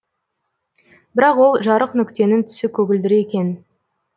бірақ ол жарық нүктенің түсі көгілдір екен